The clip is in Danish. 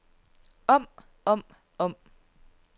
om om om